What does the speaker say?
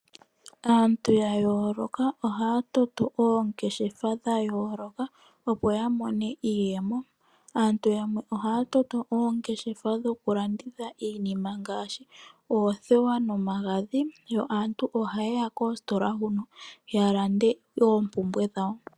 Aantu ya yooloka ohaya toto oongeshefa dha yooloka, opo ya mone iiyemo. Aantu yamwe ohaya toto oongeshefa dhoku landitha iinima ngaashi oothewa nomagadhi yo aantu ohaye ya koositola huno ya lande oompumbwe dhawo.